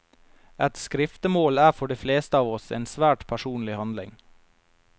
Et skriftemål er for de fleste av oss en svært personlig handling.